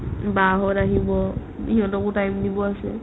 বা হঁত আহিব সিহঁতকো time দিব আছে